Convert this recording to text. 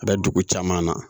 A bɛ dugu caman na